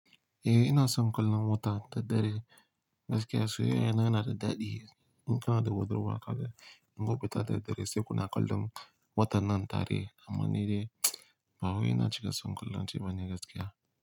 Eh ina son kallon wata da dare, gaskiya sai yana da daɗi. In kana da huɗurwa kaga, in baku fita da dare sai kuna kallon watannan tare. Amma ni dai ba wai ina cika son kallon shi bane gaskiya.